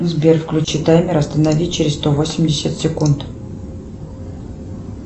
сбер включи таймер останови через сто восемьдесят секунд